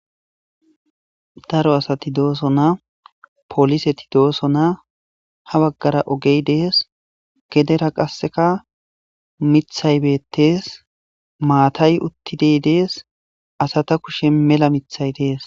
daro asati dooso na poliseti dooso na ha baggara ogey dees gedera qasseka mithaybettees maatay uttidey dees asata kushe mela mithay dees